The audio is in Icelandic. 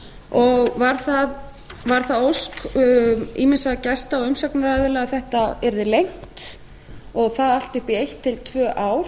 og var það ósk ýmissa gesta og umsagnaraðila að þetta yrði lengt og það allt upp í eitt til tvö ár